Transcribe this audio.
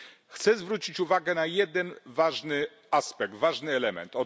Chciałbym zwrócić uwagę na jeden ważny aspekt, ważny element.